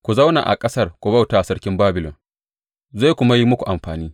Ku zauna a ƙasar ku bauta wa sarkin Babilon, zai kuma yi muku amfani.